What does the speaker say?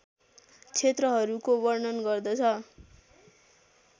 क्षेत्रहरूको वर्णन गर्दछ